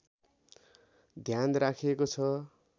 ध्यान राखिएको छ